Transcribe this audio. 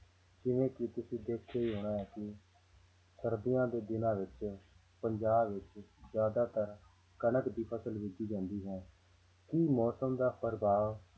ਜਿਵੇਂ ਕਿ ਤੁਸੀਂ ਦੇਖਿਆ ਹੀ ਹੋਣਾ ਹੈ ਕਿ ਸਰਦੀਆਂ ਦੇ ਦਿਨਾਂ ਵਿੱਚ ਪੰਜਾਬ ਵਿੱਚ ਜ਼ਿਆਦਾਤਰ ਕਣਕ ਦੀ ਫ਼ਸਲ ਬੀਜੀ ਜਾਂਦੀ ਹੈ, ਕੀ ਮੌਸਮ ਦਾ ਪ੍ਰਭਾਵ